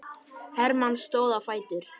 Hermann stóð á fætur.